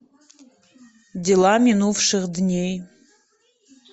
дела минувших дней